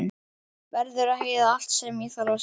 Verður að heyra allt sem ég þarf að segja.